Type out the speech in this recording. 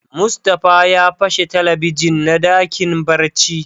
Mustapha ya pashe Telebijin na dakin barci.